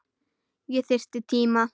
Ég þyrfti tíma.